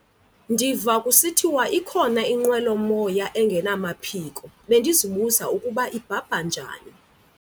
Ndiva kusithiwa ikhona inqwelomoya engenamaphiko, bendizibuza ukuba ibhabha njani.